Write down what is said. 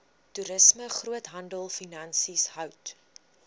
toerisme groothandelfinansies hout